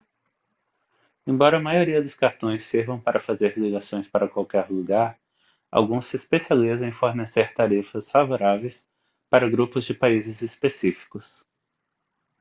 embora a maioria dos cartões sirvam para fazer ligações para qualquer lugar alguns se especializam em fornecer tarifas favoráveis para grupos de países específicos